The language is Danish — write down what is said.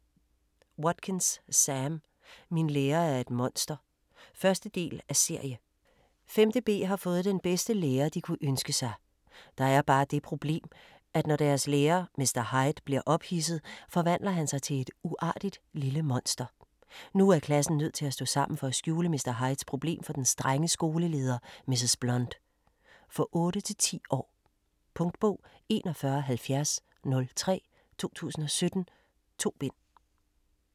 Watkins, Sam: Min lærer er et monster 1. del af serie. 5.b har fået den bedste lærer de kunne ønske sig. Der er bare det problem at når deres lærer, Mr. Hyde, bliver ophidset, forvandler han sig til et uartigt lille monster. Nu er klassen nødt til at stå sammen for at skjule Mr. Hydes problem for den strenge skoleleder Mrs. Blunt. For 8-10 år. Punktbog 417003 2017. 2 bind.